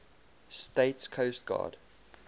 states coast guard